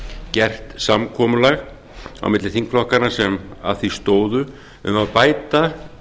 gert samkomulag á milli þingflokkanna sem að því stóðu um að bæta